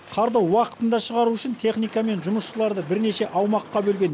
қарды уақытында шығару үшін техника мен жұмысшыларды бірнеше аумаққа бөлген